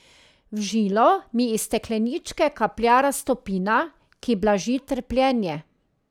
V žilo mi iz stekleničke kaplja raztopina, ki blaži trpljenje.